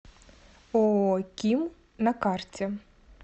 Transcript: ооо ким на карте